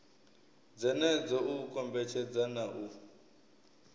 dzenedzo u kombetshedza na u